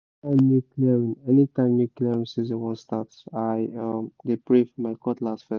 anytime new clearing anytime new clearing season wan start i um dey pray for my cutlass first